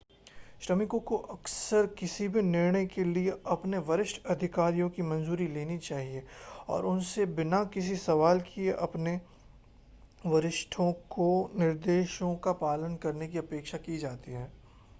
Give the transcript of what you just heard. श्रमिकों को अक्सर किसी भी निर्णय के लिए अपने वरिष्ठ अधिकारियों की मंजूरी लेनी चाहिए और उनसे बिना किसी सवाल के अपने वरिष्ठों के निर्देशों का पालन करने की अपेक्षा की जाती है